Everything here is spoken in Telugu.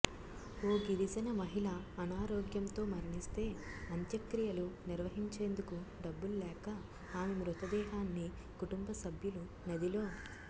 ఓ గిరిజన మహిళ అనారోగ్యంతో మరణిస్తే అంత్యక్రియలు నిర్వహించేందుకు డబ్బుల్లేక ఆమె మృతదేహాన్ని కుటుంబ సభ్యులు నదిలో